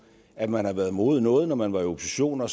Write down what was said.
at man har været imod noget når man var i opposition og